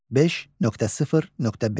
5.0.5.